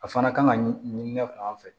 A fana kan ka ɲinina fan fɛ